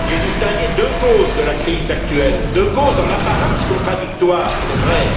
J'ai distingué deux causes de la crise actuelle, deux causes en apparence contradictoires, il est vrai.